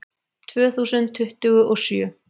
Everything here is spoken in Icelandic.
Tvö þúsund tuttugu og sjö